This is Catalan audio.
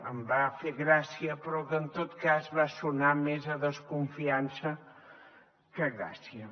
em va fer gràcia però que en tot cas va sonar més a desconfiança que a gràcia